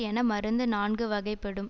என மருந்து நான்கு வகைப்படும்